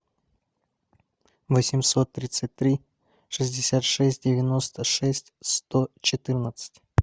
восемьсот тридцать три шестьдесят шесть девяносто шесть сто четырнадцать